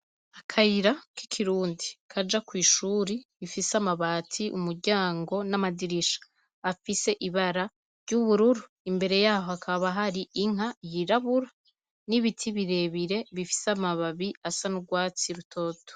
Akayira k'ikirundi kaja kw'ishure rifise amabati, umuryango n'amadirisha afise ibara ry'ubururu, imbere yaho hakaba hari inka yirabura n'ibiti birebire bifise amababi asa n'urwatsi rutoto.